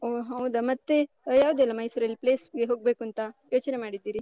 ಓಹ್ ಹೌದಾ? ಮತ್ತೆ ಯಾವ್ದುದೆಲ್ಲ ಮೈಸೂರಲ್ place ಗೆ ಹೋಗ್ಬೇಕೂಂತಾ ಯೋಚನೆ ಮಾಡಿದ್ದೀರಿ?